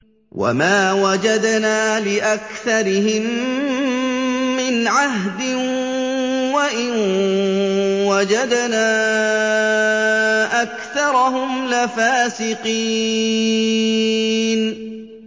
وَمَا وَجَدْنَا لِأَكْثَرِهِم مِّنْ عَهْدٍ ۖ وَإِن وَجَدْنَا أَكْثَرَهُمْ لَفَاسِقِينَ